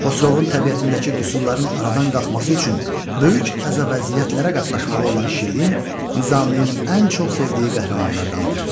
Xosrovun təbiətindəki qüsurların aradan qalxması üçün böyük əzab-əziyyətlərə qatlaşmalı olan şirin Nizaminin ən çox sevdiyi qəhrəmanlardandır.